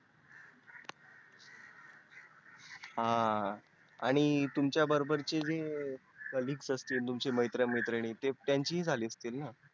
हा आणि तुमच्या बरोबरचे जे collegues असतील तुमचे मित्र मैत्रीण त्यांचे पण झाले असतील ना